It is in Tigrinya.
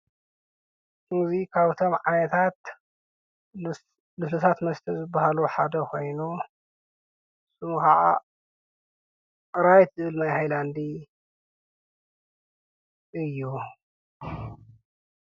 እዚ ካብቶም ዓይነታት ልሱሉሳት መስተ ዝበሃሉ ሓደ ኮይኑ ሹሙ ከዓ ራይት ዝብል ማይ ሃይላንዲ እዩ፡፡